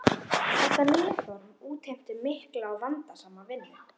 Þetta nýja form útheimti mikla og vandasama vinnu.